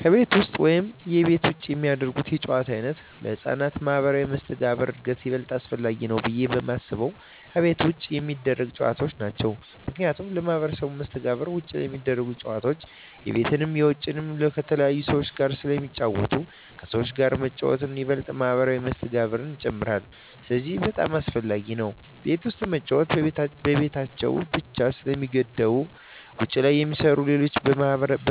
ከቤት ውስጥ ወይም ከቤት ውጭ የሚደረጉ የጨዋታ ዓይነቶች ለሕፃናት ማኅበራዊ መስተጋብር እድገት ይበልጥ አስፈላጊው ብየ የማስበው ከቤት ውጭ የሚደረጉ ጨዎታዎች ናቸው ምክንያቱም ለማህበራዊ መስተጋብር ውጭ ላይ ሚደረጉት ጨወታዎች የቤትንም የውጭንም ከተለያዩ ሰዎች ጋር ስለሚጫወቱ ከሰዎች ጋር መጫወት ይበልጥ ማህበራዊ መስተጋብርን ይጨምራል ስለዚህ በጣም አሰፈላጊ ነው ቤት ውስጥ መጫወት በቤታቸው ብቻ ስለሚገደቡ ውጭ ላይ የሚሰሩ ሌሎች